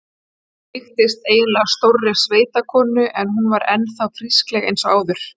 Líktist eiginlega stórri sveitakonu en hún var enn þá frískleg eins og áður.